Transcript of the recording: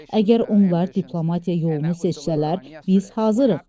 Əgər onlar diplomatiya yolunu seçsələr, biz hazırıq.